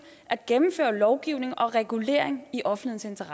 at gennemføre lovgivning og regulering i offentlighedens